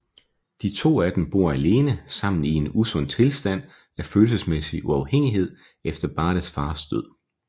De to af dem bor alene sammen i en usund tilstand af følelsesmæssig afhængighed efter Bates fars død